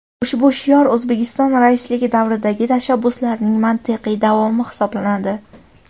Ushbu shior O‘zbekiston raisligi davridagi tashabbuslarning mantiqiy davomi hisoblanadi.